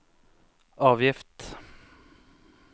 avgift